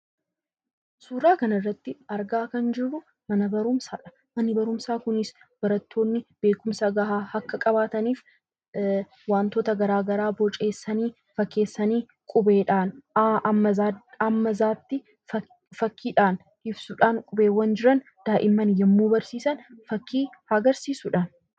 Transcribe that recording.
Suuraa kanarratti kan argaa jirru mana barumsaadha. Manni barumsaa kunis barattoonni beekumsa gahaa akka qabaataniif wantoota garaagaraa boceessanii qubeedhaan A hanga Z tti fakkiidhaan ibsuudhaan daa'imman yeroo barsiisan fakkii agarsiisudha.